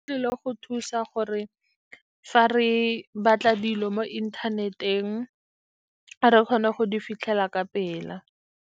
E tlile go thusa gore fa re batla dilo mo inthaneteng, re kgone go di fitlhela ka pela.